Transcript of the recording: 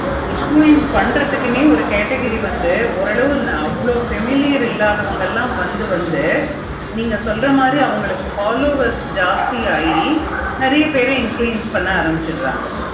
nfluence பண்றதுக்குனே ஒரு category வந்து ஓர் அளவு நாம அவ்வளோ familiar இல்லாதவங்க எல்லாம் வந்து வந்து நீங்க சொல்ற மாதிரி அவங்களுக்கு followers ஜாஸ்தி நெறைய பேரு influence பண்ண ஆரம்பிச்சிருங்க